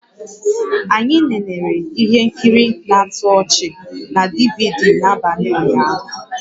Anyị nenere ihe nkiri na-atọ ọchị na DVD n'abalị ụnyaahụ